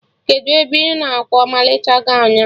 Kedụ ebe ị nọ kwa ọmalịcha gọwn a?